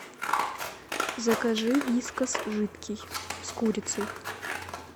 закажи вискас жидкий с курицей